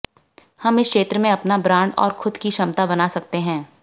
हम इस क्षेत्र में अपना ब्रांड और खुद की क्षमता बना सकते हैं